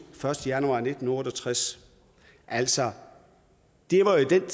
første januar nitten otte og tres altså det var jo